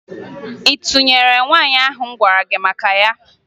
Ị tụnyere nwaanyị ahụ m gwara gị maka ya?